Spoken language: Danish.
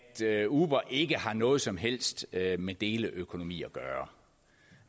at uber ikke har noget som helst med deleøkonomi at gøre